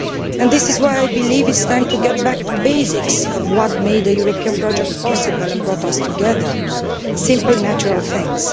And this is why I believe it is time to get back to the basics of what made the European project possible and brought us together simple natural things.